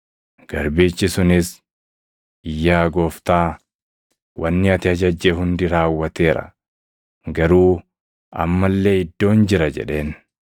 “Garbichi sunis, ‘Yaa gooftaa, wanni ati ajajje hundi raawwateera; garuu amma illee iddoon jira’ jedheen.